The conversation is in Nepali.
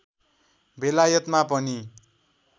बेलायतमा पनि